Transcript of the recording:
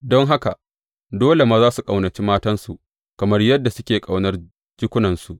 Don haka, dole maza su ƙaunaci matansu kamar yadda suke ƙaunar jikunansu.